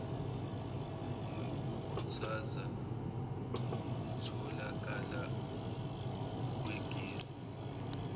nokukhuthaza ukutholakala kwegesi